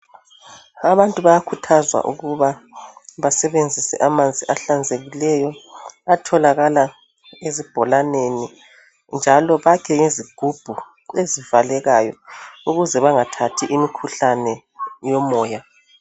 Abantu bayakhuthzwa ukuba basebenzise amanzi ahlanzekileyo atholakala ezibholaneni njalo bakhe ngezigubhu ezivalekayo ukuze bengathathi imikhuhlane yomoya .